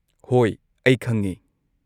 ꯍꯣꯏ, ꯑꯩ ꯈꯪꯉꯦ꯫